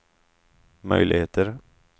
möjligheter